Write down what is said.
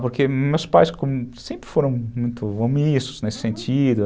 Porque meus pais sempre foram muito omissos nesse sentido.